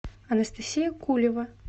анастасия кулева